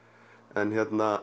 en